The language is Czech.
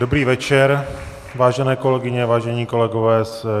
Dobrý večer, vážené kolegyně, vážení kolegové.